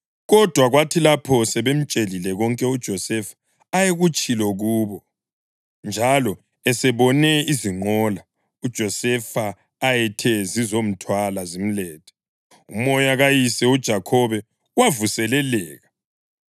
Kodwa kwathi lapho sebemtshelile konke uJosefa ayekutshilo kubo, njalo esebone izinqola uJosefa ayethe zizomthwala zimlethe, umoya kayise, uJakhobe wavuseleleka.